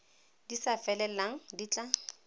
di sa felelang di tla